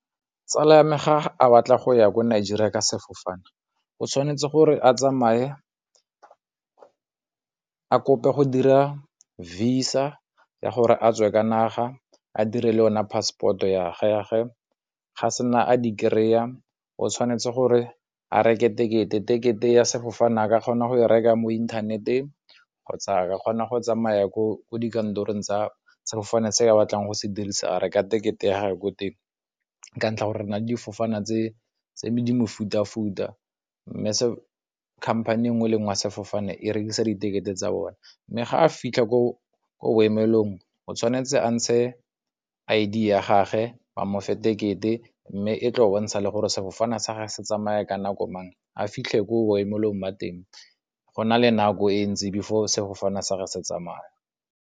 Tsala ya me ga a batla go ya ko Nigeria a ka sefofane o tshwanetse gore a tsamaye a kope go dira Visa ya gore a tswe ka naga a dire le one passport-o ya ge ga sena a di kry-a o tshwanetse gore a reke tekete, tekete ya sefofane a ka kgona go e reka mo internet-eng kgotsa ka kgona go tsamaya ko dikantorong tsa sefofane se ba batlang go se dirisa reka tekete ya ga gwe ko teng, ka ntlha ya gore re na le difofana tse tse di mefuta futa, mme company engwe leng wa sefofane e rekisa diketekete tsa bone, mme ga a fitlha ko ko boemelong o tshwanetse a ntshe I_D ya gagwe ba mo fa tekete mme e tlo bontsha le gore sefofane se se tsamaya ka nako mang a fitlhe ko boemelong ba teng, go na le nako e ntsi before sefofane sa gagwe se tsamaya.